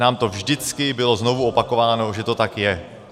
Nám to vždycky bylo znovu opakováno, že to tak je.